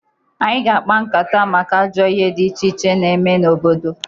Anyị ga-akpa nkata maka ajọ ihe dị iche iche na-eme n'obodo.